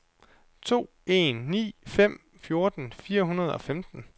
to en ni fem fjorten fire hundrede og femten